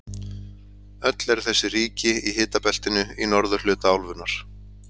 Öll eru þessi ríki í hitabeltinu í norðurhluta álfunnar.